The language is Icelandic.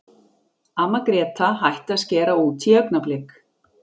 Amma Gréta hætti að skera út í augnablik.